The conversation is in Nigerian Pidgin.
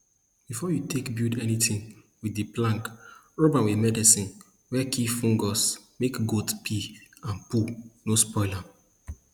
before you take build anything with di plank rub am with medicine wey kill fungus make goat pee and poo no spoil am